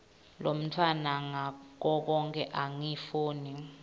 lomntfwana ngakoke angifuni